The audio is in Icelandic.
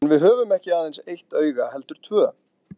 En við höfum ekki aðeins eitt auga heldur tvö.